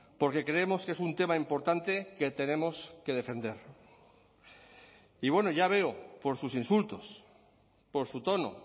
porque creemos que es un tema importante que tenemos que defender y bueno ya veo por sus insultos por su tono